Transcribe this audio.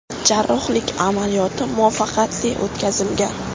Jarrohlik amaliyoti muvaffaqiyatli o‘tkazilgan.